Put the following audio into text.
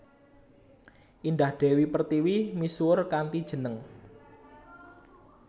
Indah Dewi Pertiwi misuwur kanthi jeneng